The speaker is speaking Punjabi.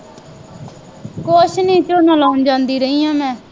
ਕੁੱਛ ਨਹੀਂ ਝੋਨਾ ਲਾਉਣ ਜਾਂਦੀ ਰਹੀ ਹਾਂ ਮੈਂ